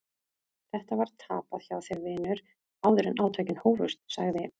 Þetta var tapað hjá þér vinur áður en átökin hófust, sagði